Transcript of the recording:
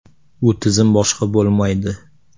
U tizim boshqa bo‘lmaydi.